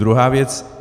Druhá věc.